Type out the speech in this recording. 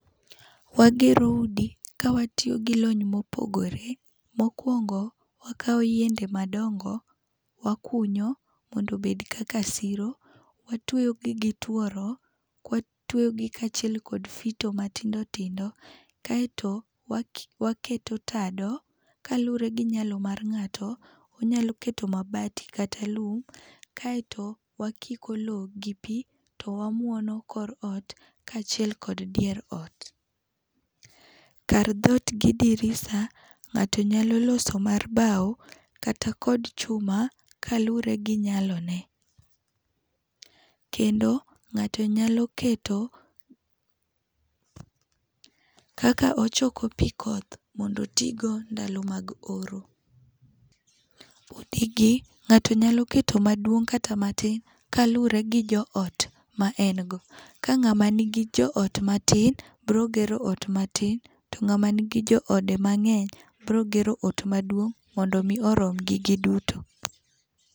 Wagero udi kawatiyo gi lony mopogore. Mokuongo, wakawo yiende madongo, wakunyo mondo obed kaka siro. Watueyogi gi gituoro, watueyogi kaachiel kod fito matindo tindo kaeto wa waketo tado. Kaluwore gi nyalo ng'ato, onyalo keto mabati kata lum. Kaeto wakiko lowo gi pi to wamuono kor ot kaachiel kod dier ot. Kar dhoot gi dirisa, ng'ato nyalo loso mar bao kata kod chuma kaluwore gi nyalo ne. Kendo ng'ato nyalo keto kaka ochoko pi koth mondo otigo ndalo mag oro. Udigi ng'ato nyalo keto maduong' kata maduong' kaluwore gi joot, ma en go. Kang'ama nigi joot matin, biro gero ot matin. Kangama nigi joode mang'eny, biro gero ot maduong' mondo mi oromgi giduto.